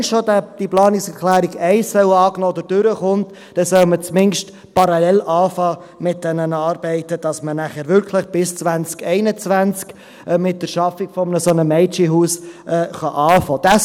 Wenn schon diese Planungserklärung 1 durchkommt, dann sollte man zumindest parallel mit diesen Arbeiten beginnen, damit man nachher wirklich bis 2021 mit der Schaffung eines solchen Mädchenhauses beginnen kann.